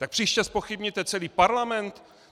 Tak příště zpochybníte celý Parlament?